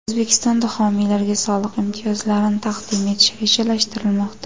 O‘zbekistonda homiylarga soliq imtiyozlarini taqdim etish rejalashtirilmoqda.